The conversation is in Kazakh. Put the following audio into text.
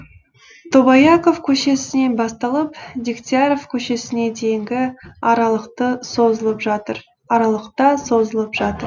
тобаяқов көшесінен басталып дегтяров көшесіне дейінгі аралықта созылып жатыр